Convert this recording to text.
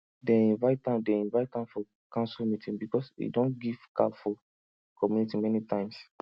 dem invite am dem invite am for council meeting because him don give cow for community many times